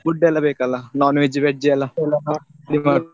food ಎಲ್ಲಾ ಬೇಕಲ್ಲಾ non-veg veg ಎಲ್ಲ .